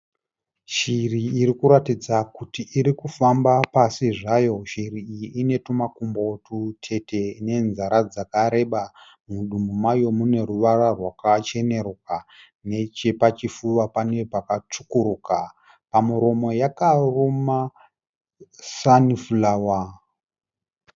Shiri iri kutaridza kuti iri kufamba pasi zvayo. Shiri iyi ine tumakumbo tutete nenzara dzakareba. Mudumbu mayo mune ruvara rwakachenuruka. Nechepachifuva pane pakatsvukuruka. Pamuromo yakaruma sanifurawa.